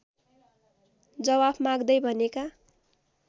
जवाफ माग्दै भनेका